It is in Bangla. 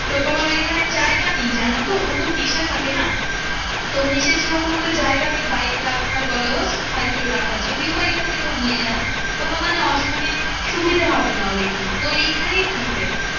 তো তোমার ঐখানে জায়গা নেই জানতো ওতো মেসে থাকে না, তো মেসের সেরকম অত জায়গা নেই বাইক রাখার বলো বা সাইকেল রাখার যদিও বা এখন থেকে ও নিয়ে যায় কোনো মানে অস মানে সুবিধা হবে না ওর ঐখানে তো এইখানেই থাকবে।